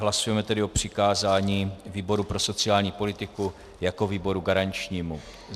Hlasujeme tedy o přikázání výboru pro sociální politiku jako výboru garančnímu.